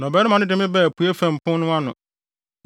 Na ɔbarima no de me baa apuei fam pon no ano,